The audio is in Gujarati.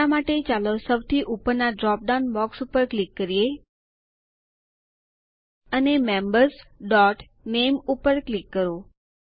હમણાં માટે ચાલો સૌથી ઉપરનાં ડ્રોપ ડાઉન બોક્સ ઉપર ક્લિક કરીએ અને membersનામે ઉપર ક્લિક કરો